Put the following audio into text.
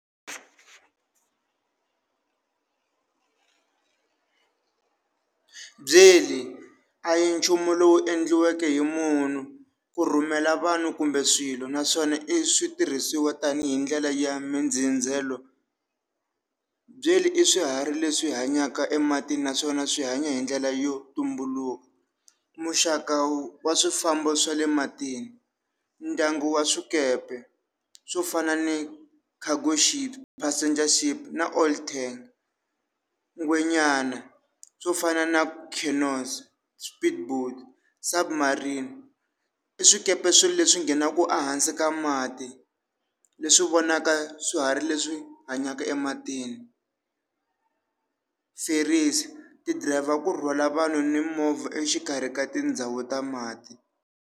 Byeli a hi nchumu lowu endliweke hi munhu ku rhumela vanhu kumbe swilo naswona i switirhisiwa tanihi ndlela ya mindzindzelo, byeli i swiharhi leswi hanyaka ematini naswona swi hanya hi ndlela yo tumbuluka, muxaka wa swifambo swa le matini ndyangu wa swikepe swo fana ni Cargo Ship, Passenger Ship na Olten, ngwenyana swo fana na Kenos, Submarine, i swikepe swi leswi nghenaka ehansi ka mati, leswi vonaka swiharhi leswi hanyaka ematini, ti driver ku rhwala vanhu ni movha exikarhi ka tindhawu ta mati.